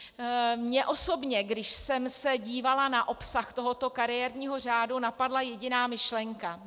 Mně osobně, když jsem se dívala na obsah tohoto kariérního řádu, napadla jediná myšlenka.